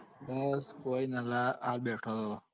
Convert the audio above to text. હું કોય નાં લ્યા આ બેઠો હતો.